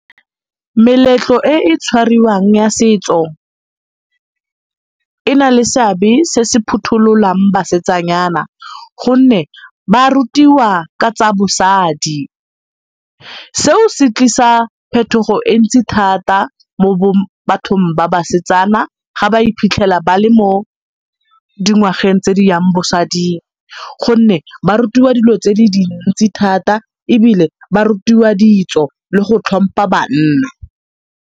Meletlo e e tshwariwang ya setso e na le seabe se se phutholang basetsanyana gonne ba rutiwa ka tsa bosadi. Seo se tlisa phetogo e ntsi thata mo bathong ba basetsana ga ba iphitlhela ba le mo dingwageng tse di yang bosading gonne ba rutiwa dilo tse di dintsi thata ebile ba rutiwa ditso le go tlhompha banna.